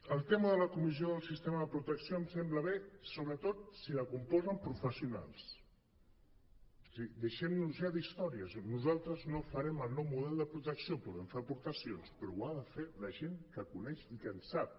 el tema de la comissió del sistema de protecció ens sembla bé sobretot si la componen professionals és a dir deixem nos ja d’històries nosaltres no farem el nou model de protecció hi podem fer aportacions però ho ha de fer la gent que ho coneix i que en sap